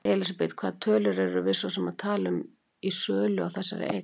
Elísabet: Hvaða tölur erum við svo sem að tala um í sölu á þessari eign?